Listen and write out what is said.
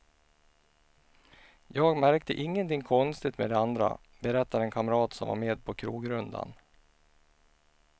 Jag märkte ingenting konstig med de andra, berättar en kamrat som var med på krogrundan.